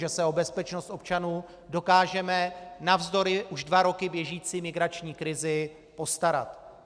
Že se o bezpečnost občanů dokážeme navzdory už dva roky běžící migrační krizi postarat.